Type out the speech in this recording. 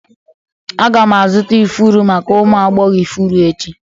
Aga m azụta ifuru maka ụmụ agbọghọ ifuru echi.